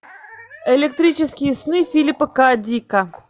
электрические сны филипа к дика